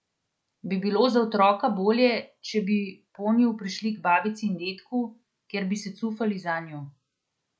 Bi bilo za otroka bolje, če bi ponju prišli k babici in dedku, kjer bi se cufali zanju?